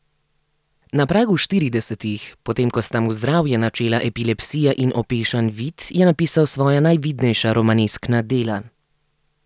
Na pragu štiridesetih, potem ko sta mu zdravje načela epilepsija in opešan vid, je napisal svoja najvidnejša romaneskna dela.